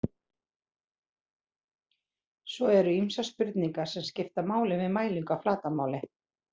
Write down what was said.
Svo eru ýmsar spurningar sem skipta máli við mælingu á flatarmáli.